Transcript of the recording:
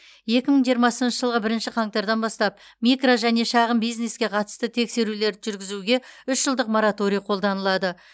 екі мың жиырмасыншы жылғы бірінші қаңтардан бастап микро және шағын бизнеске қатысты тексерулерді жүргізуге үш жылдық мораторий қолданылады